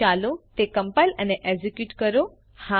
ચાલો તે કમ્પાઇલ અને એકઝીક્યુટ કરો